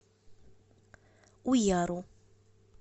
уяру